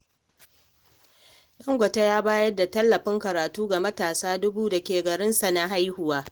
Dangote ya bayar da tallafin karatu ga matasa dubu dake garinsa na haihuwa.